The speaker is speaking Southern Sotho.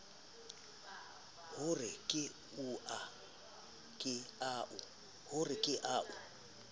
ho re ke a o